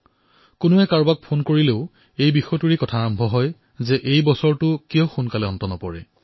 কোনোবাই যদি কাৰোবাক ফোনো কৰিছে তেন্তে তেওঁলোকৰ মাজত এই কথাৰেই আলোচনা হৈছে যে এই বৰ্ষটো কিয় সোনকালে শেষ নহয়